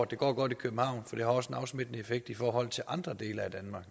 det går godt i københavn for det har også en afsmittende effekt i forhold til andre dele af danmark